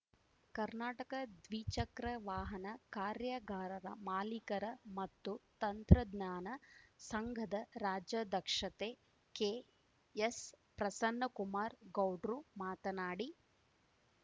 ಕರ್ನಾಟಕ ದ್ವಿಚಕ್ರ ವಾಹನ ಕಾರ್ಯಾಗಾರರ ಮಾಲೀಕರ ಮತ್ತು ತಂತ್ರಜ್ಞಾನ ಸಂಘದ ರಾಜ್ಯಾಧ್ಯಕ್ಷತೆ ಕೆಎಸ್‌ಪ್ರಸನ್ನಕುಮಾರ ಗೌಡ್ರು ಮಾತನಾಡಿ